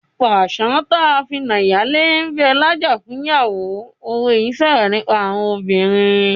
"Pàṣán tí a fi na ìyálé ń bẹ lájà fún ìyàwó " òwe yìí ń sọ̀rọ̀ nípa àwọn obìnrin.